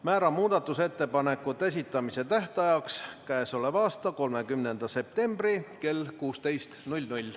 Määran muudatusettepanekute esitamise tähtajaks k.a 30. septembri kell 16.00.